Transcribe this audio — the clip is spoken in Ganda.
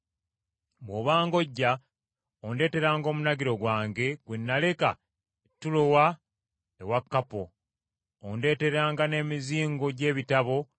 Alegezanda, omuweesi w’ebikomo yankola ebyettima bingi. Mukama alimusasula olw’ebikolwa bye.